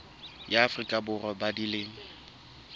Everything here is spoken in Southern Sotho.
ya afrika borwa ba dilemo